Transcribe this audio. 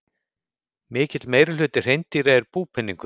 Mikill meirihluti hreindýra er búpeningur.